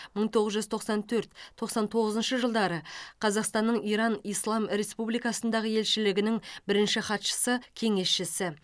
мың тоғыз жүз тоқсан төрт тоқсан тоғызыншы жылдары қазақстанның иран ислам республикасындағы елшілігінің бірінші хатшысы кеңесшісі